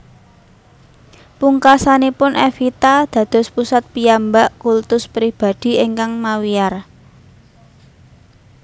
Pungkasanipun Evita dados pusat piyambak kultus pribadi ingkang mawiyar